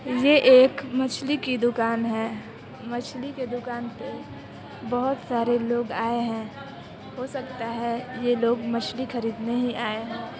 ये एक मछली की दुकान है मछली के दुकान पे बुहत सारे लोग आए हैं हो सकता है ये लोग मछली खरीदने ही आए हो।